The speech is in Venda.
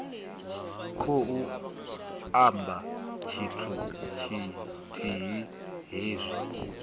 khou amba tshithu tshithihi hezwi